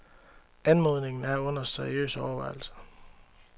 Anmodningen er under seriøs overvejelse.